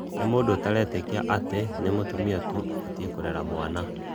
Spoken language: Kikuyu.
nĩ mũndũ ũtaretĩkĩa atĩ nĩ mũtũmĩa tũ ũbatĩe kũrera cĩana